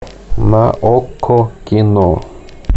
на окко кино